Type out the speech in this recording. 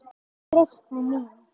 Og breytni mín.